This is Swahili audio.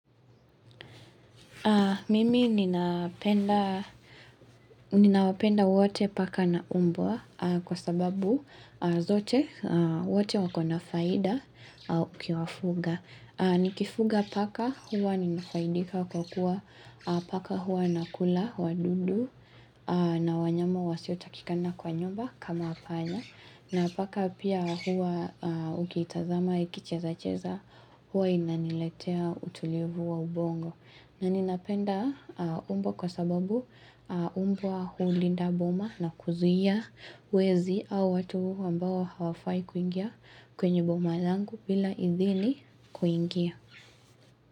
Mimi ninapenda ninawapenda wote paka na umbwa kwa sababu zote wote wakona faida ukiwafuga. Nikifuga paka huwa ninafaidika kwa kuwa paka huwa nakula wadudu na wanyama wasiotakikana kwa nyumba kama panya. Na paka pia huwa ukiitazama ikicheza cheza huwa inaniletea utulivu wa ubongo. Na ninapenda umbwa kwa sababu umbwa hulinda boma na kuzuia wezi au watu ambao hawafai kuingia kwenye boma langu bila idhili kuingia.